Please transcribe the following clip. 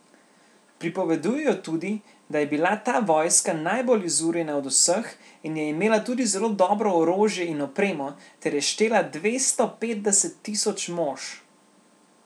Pripovedujejo tudi, da je bila ta vojska najbolj izurjena od vseh in je imela tudi zelo dobro orožje in opremo ter je štela dvesto petdeset tisoč mož.